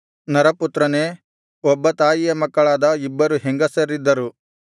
ನರಪುತ್ರನೇ ಒಬ್ಬ ತಾಯಿಯ ಮಕ್ಕಳಾದ ಇಬ್ಬರು ಹೆಂಗಸರಿದ್ದರು